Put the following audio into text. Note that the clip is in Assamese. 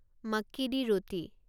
মাক্কি দি ৰুটি